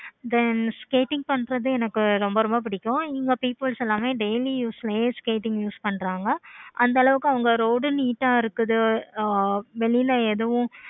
then skating பண்றது எனக்கு ரொம்ப ரொம்ப பிடிக்கும். இங்க peoples எல்லாமே daily யும் skating use பன்றாங்க. அந்த அளவுக்கு அவங்க road neat ஆஹ் இருக்கும். வெளியில எதுவும்